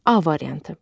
A variantı.